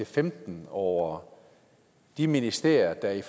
femten over de ministerier der i